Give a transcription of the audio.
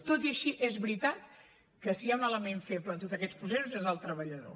tot i així és veritat que si hi ha un element feble en tots aquests processos és el treballador